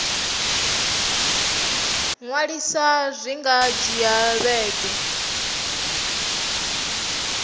ṅwalisa zwi nga dzhia vhege